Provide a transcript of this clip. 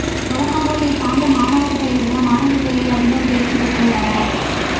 வழக்கம் போல் இந்தாண்டும் மாணவர்களை விட மாணவிகளே அதிகம் தேர்ச்சி பெற்றுள்ளனர்